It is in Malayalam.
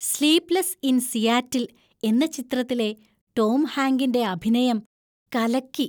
"സ്ലീപ്‌ലെസ്സ് ഇൻ സിയാറ്റിൽ" എന്ന ചിത്രത്തിലെ ടോം ഹാങ്കിന്‍റെ അഭിനയം കലക്കി.